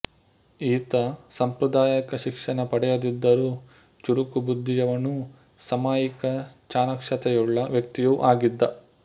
ಈತ ಸಾಂಪ್ರದಾಯಕ ಶಿಕ್ಷಣ ಪಡೆಯದಿದ್ದರೂ ಚುರುಕು ಬುದ್ಧಿಯವನೂ ಸಾಮಯಿಕ ಚಾಣಾಕ್ಷತೆಯುಳ್ಳ ವ್ಯಕ್ತಿಯೂ ಆಗಿದ್ದ